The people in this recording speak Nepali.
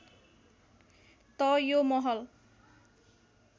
त यो महल